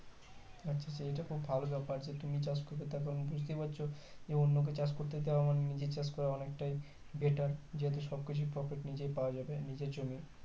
আচ্ছা আচ্ছা এটা খুব ভালো ব্যাপার যে তুমি চাষ করবে তারপর তো বুজতে পারছো যে অন্য কে চাষ করতে দেওয়া মানে নিজের চাষ করা অনেক টাই better যেহুতু সবকিছু profit নিজেই পাওয়া যাবে নিজের জমির